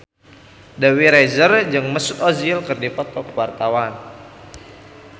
Dewi Rezer jeung Mesut Ozil keur dipoto ku wartawan